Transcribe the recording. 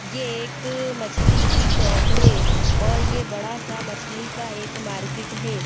ये एक मछली की शॉप है और ये बड़ा सा मछली का एक मार्केट है।